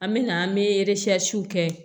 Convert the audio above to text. An me na an be kɛ